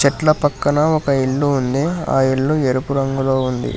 చెట్ల పక్కన ఒక ఇల్లు ఉంది ఆ ఇల్లు ఎరుపు రంగులో ఉంది.